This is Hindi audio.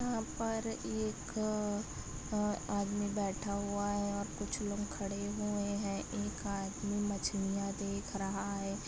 यहाँ पर एक अ आदमी बैठा हुआ है और कुछ लोग खड़े हुए है एक आदमी मछलियाँ देख रहा हैं।